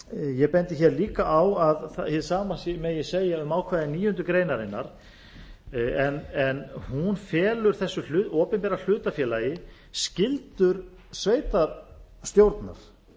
ég bendi líka á að hið sama megi segja um ákvæði níundu grein en hún felur þessu opinbera hlutafélagi skyldur sveitarstjórnar